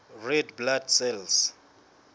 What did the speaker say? red blood cells